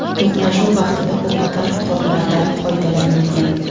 To‘qnashuv vaqtida o‘qotar qurollardan foydalanilgan.